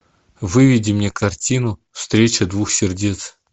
выведи мне картину встреча двух сердец